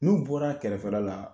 N'u bɔr'a kɛrɛfɛla la